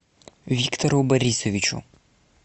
виктору борисовичу